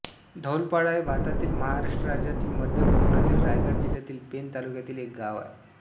धौलपाडा हे भारतातील महाराष्ट्र राज्यातील मध्य कोकणातील रायगड जिल्ह्यातील पेण तालुक्यातील एक गाव आहे